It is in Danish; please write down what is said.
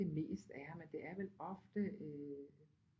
Det mest er men det er vel ofte øh